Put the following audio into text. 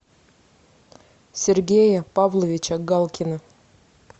сергея павловича галкина